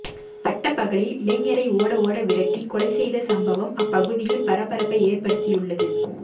பட்டப்பகலில் இளைஞரை ஓட ஓட விரட்டி கொலை செய்த சம்பவம் அப்பகுதியில் பரபரப்பை ஏற்படுத்தியுள்ளது